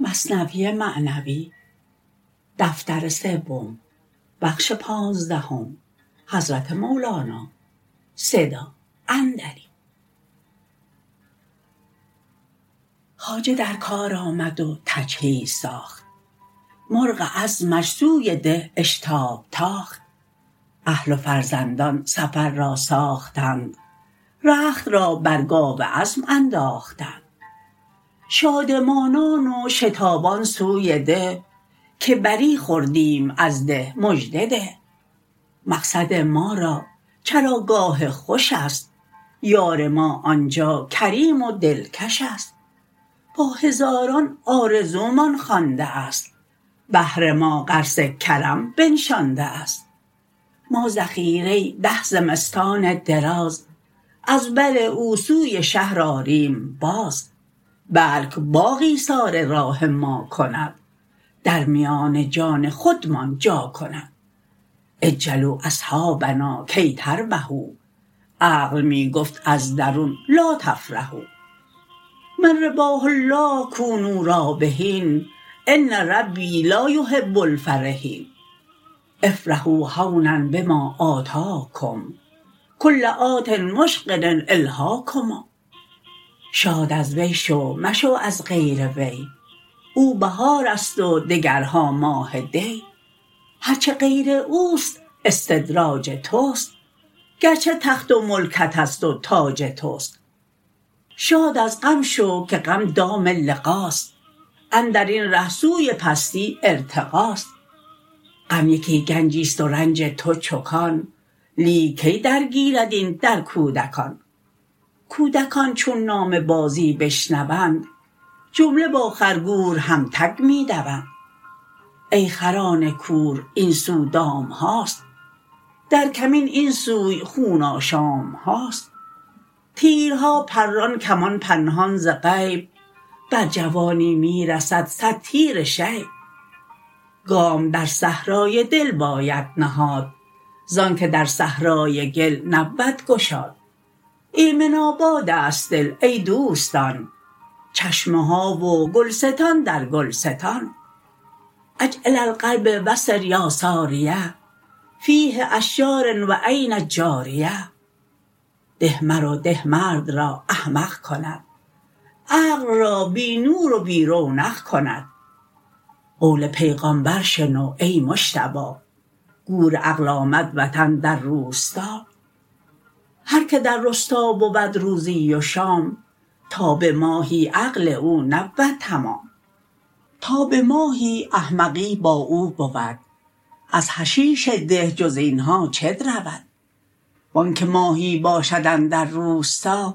خواجه در کار آمد و تجهیز ساخت مرغ عزمش سوی ده اشتاب تاخت اهل و فرزندان سفر را ساختند رخت را بر گاو عزم انداختند شادمانان و شتابان سوی ده که بری خوردیم از ده مژده ده مقصد ما را چراگاه خوش ست یار ما آنجا کریم و دلکش ست با هزاران آرزو مان خوانده است بهر ما غرس کرم بنشانده است ما ذخیره ده زمستان دراز از بر او سوی شهر آریم باز بلک باغ ایثار راه ما کند در میان جان خودمان جا کند عجلوا اصحابنا کی تربحوا عقل می گفت از درون لا تفرحوا من رباح الله کونوا رابحین ان ربی لا یحب الفرحین افرحوا هونا بما آتاکم کل آت مشغل الهاکم شاد از وی شو مشو از غیر وی او بهار ست و دگرها ماه دی هر چه غیر اوست استدراج تست گرچه تخت و ملکت است و تاج تست شاد از غم شو که غم دام لقا ست اندرین ره سوی پستی ارتقا ست غم یکی گنجی ست و رنج تو چو کان لیک کی در گیرد این در کودکان کودکان چون نام بازی بشنوند جمله با خر گور هم تگ می دوند ای خران کور این سو دام هاست در کمین این سوی خون آشام هاست تیرها پران کمان پنهان ز غیب بر جوانی می رسد صد تیر شیب گام در صحرای دل باید نهاد زانکه در صحرای گل نبود گشاد ایمن آباد است دل ای دوستان چشمه ها و گلستان در گلستان عج الی القلب و سر یا ساریه فیه اشجار و عین جاریه ده مرو ده مرد را احمق کند عقل را بی نور و بی رونق کند قول پیغامبر شنو ای مجتبی گور عقل آمد وطن در روستا هر که در رستا بود روزی و شام تا به ماهی عقل او نبود تمام تا به ماهی احمقی با او بود از حشیش ده جز اینها چه درود وانکه ماهی باشد اندر روستا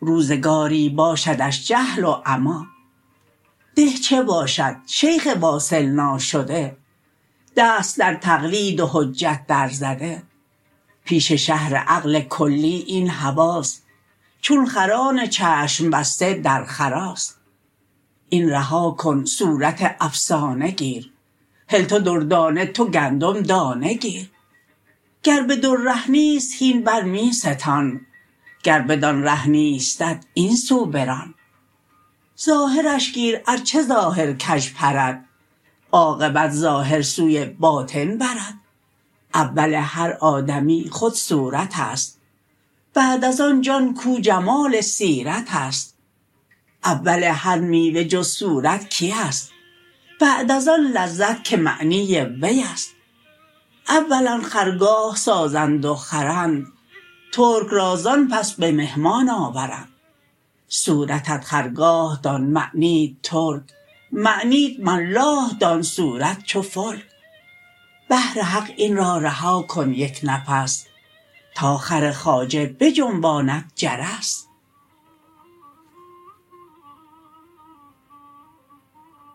روزگاری باشدش جهل و عمی ده چه باشد شیخ واصل ناشده دست در تقلید و حجت در زده پیش شهر عقل کلی این حواس چون خران چشم بسته در خراس این رها کن صورت افسانه گیر هل تو دردانه تو گندم دانه گیر گر به در ره نیست هین بر می ستان گر بدان ره نیستت این سو بران ظاهر ش گیر ار چه ظاهر کژ پرد عاقبت ظاهر سوی باطن برد اول هر آدمی خود صورت است بعد از آن جان کاو جمال سیرت است اول هر میوه جز صورت کی است بعد از آن لذت که معنی وی است اولا خرگاه سازند و خرند ترک را زان پس به مهمان آورند صورتت خرگاه دان معنیت ترک معنیت ملاح دان صورت چو فلک بهر حق این را رها کن یک نفس تا خر خواجه بجنباند جرس